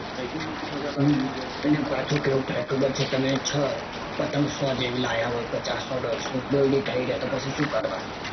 તીન હજાર અને પાછું કેવું થાય ખબર છે તમે પતંગ સો જેવી લાવ્યા હોય પચાસ સો દોડસો. દોયડી થઇ રે તો શું કરવાનું.